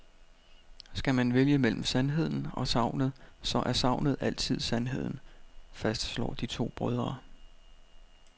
Skal man vælge mellem sandheden og sagnet, så er sagnet altid sandheden, fastslår de to brødre.